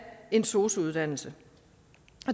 en sosu uddannelse